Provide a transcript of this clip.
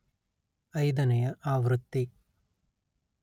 ಐದನೆಯ ಆವೃತ್ತಿ